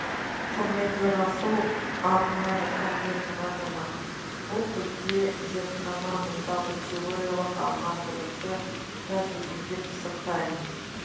құрмет ерасыл арнайы пәндер мұғалімі бұл бізде зертхана мұнда біз теориялық алған білімді тәжірибеде пысықтаймыз